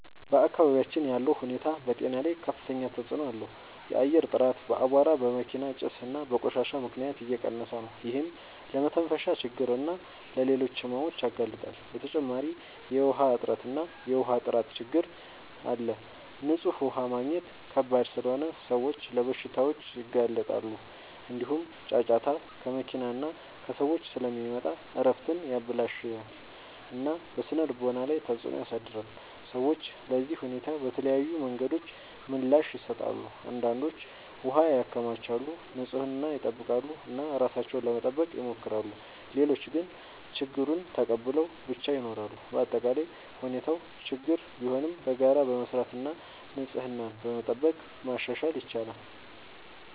በአካባቢያችን ያለው ሁኔታ በጤና ላይ ከፍተኛ ተጽዕኖ አለው። የአየር ጥራት በአቧራ፣ በመኪና ጭስ እና በቆሻሻ ምክንያት እየቀነሰ ነው፤ ይህም ለመተንፈሻ ችግኝ እና ለሌሎች ሕመሞች ያጋልጣል። በተጨማሪ የውሃ እጥረት እና የውሃ ጥራት ችግኝ አለ፤ ንጹህ ውሃ ማግኘት ከባድ ስለሆነ ሰዎች ለበሽታዎች ይጋለጣሉ። እንዲሁም ጫጫታ ከመኪና እና ከሰዎች ስለሚመጣ እረፍትን ያበላሽታል እና በስነ-ልቦና ላይ ተጽዕኖ ያሳድራል። ሰዎች ለዚህ ሁኔታ በተለያዩ መንገዶች ምላሽ ይሰጣሉ። አንዳንዶች ውሃ ያከማቻሉ፣ ንጽህናን ይጠብቃሉ እና ራሳቸውን ለመጠበቅ ይሞክራሉ። ሌሎች ግን ችግኙን ተቀብለው ብቻ ይኖራሉ። በአጠቃላይ ሁኔታው ችግኝ ቢሆንም በጋራ በመስራት እና ንጽህናን በመጠበቅ ማሻሻል ይቻላል።